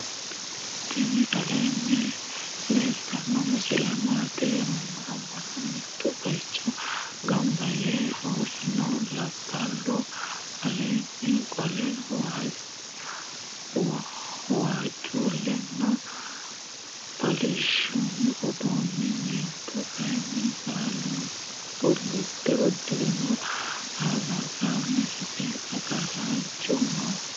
tiini aleni leltano misile matti yinumoro. manu mito bayicho ganba yee urino. labalu alenni qole wajulena karsanni udirino. mentu kayini bulude uudirino. albansani hige agarasinchu noo.